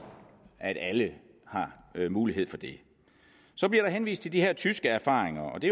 at alle har mulighed for det så bliver der henvist til de her tyske erfaringer det